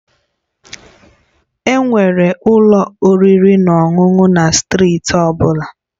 Enwere ụlọ oriri na ọṅụṅụ na steeti ọ bụla